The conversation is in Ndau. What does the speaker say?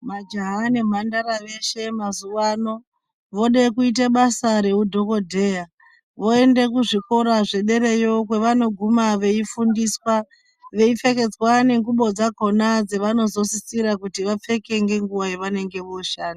Majaha nemhandara veshe mazuwano vode kuita basa rehwudhokodheya voende kuzvikora zvederayo kwavanoguma veifundiswa veipfekedzwa nengubo dzakona dzavanozosisira kuti vapfeke ngenguwa yavanenge vooshanda